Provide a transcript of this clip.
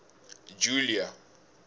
julia